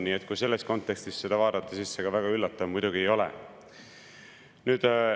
Nii et kui selles kontekstis seda vaadata, siis ega see väga üllatav muidugi ei ole.